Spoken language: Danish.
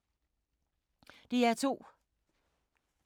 DR2